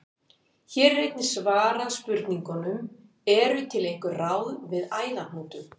Hér er einnig svarað spurningunum: Eru til einhver ráð við æðahnútum?